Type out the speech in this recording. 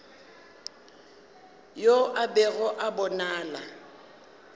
yo a bego a bonala